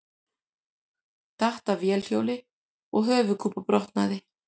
Datt af vélhjóli og höfuðkúpubrotnaði